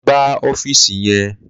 Lo̩ gbá ó̩fíìsì ye̩n!